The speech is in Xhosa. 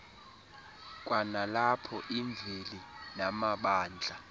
kwanalapho imveli namabandla